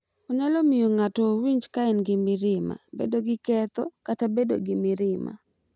Onyalo miyo ng’ato owinjo ka en gi mirima, bedo gi ketho, kata bedo gi mirima,